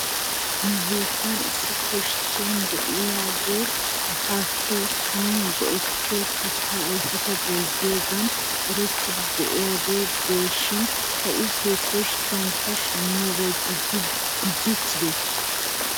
Nu biittan issi koskke de'iyaagee asaassi son go'ettiyoo kattaa ayfeta bayzziyoogan erettidi de'iyaagee des shin ha'i he koskkiyankka shamiyoobay gujjiichchidee?